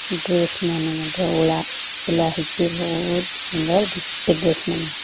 Dress ମାନେ ମଧ୍ୟ ଓଳା ଓଲା ହେଇଚେ ବୋହୁତ୍ ସୁନ୍ଦର୍ ଦିଶୁଚେ ଡ୍ରେସ୍ ମାନେ।